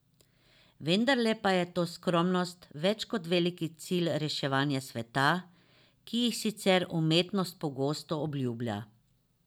Vendarle pa je ta skromnost več kot veliki cilji reševanja sveta, ki jih sicer umetnost pogosto obljublja.